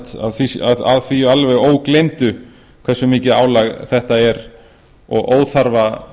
alveg að því ógleymdu hversu mikið álag þetta er og óþarfa